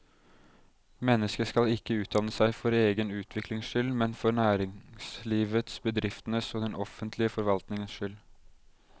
Mennesket skal ikke utdanne seg for egen utviklings skyld, men for næringslivets, bedriftenes og den offentlige forvaltningens skyld.